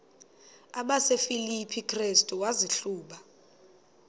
kwabasefilipi restu wazihluba